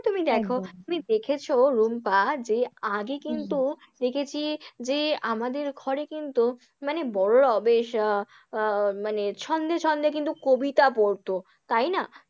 তুমি দেখো, তুমি দেখেছো রুম্পা যে আগে কিন্তু দেখেছি আহ যে আমাদের ঘরে কিন্তু মানে বড়োরাও বেশ আহ আহ মানে ছন্দে ছন্দে কিন্তু কবিতা পড়তো, তাই না?